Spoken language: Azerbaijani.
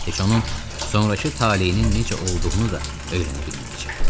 Heç onun sonrakı taleyinin necə olduğunu da öyrənə bilməyəcək.